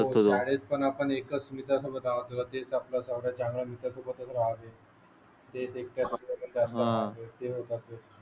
असतो. वगळा वे. ते. होय.